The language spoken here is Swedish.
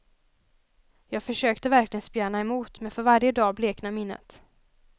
Jag försökte verkligen spjärna emot men för varje dag bleknar minnet.